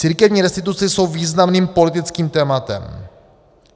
Církevní restituce jsou významným politickým tématem.